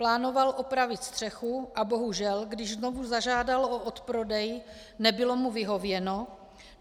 Plánoval opravit střechu, a bohužel, když znovu zažádal o odprodej, nebylo mu vyhověno.